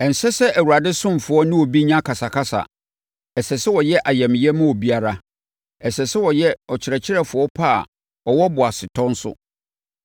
Ɛnsɛ sɛ Awurade ɔsomfoɔ ne obi nya akasakasa. Ɛsɛ sɛ ɔyɛ ayamyɛ ma obiara. Ɛsɛ sɛ ɔyɛ ɔkyerɛkyerɛfoɔ pa a ɔwɔ boasetɔ nso